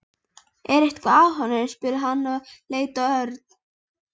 Er eitthvað að honum? spurði hann og leit á Örn.